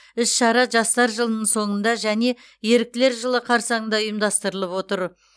іс шара жастар жылының соңында және еріктілер жылы қарсаңында ұйымдастырылып отыр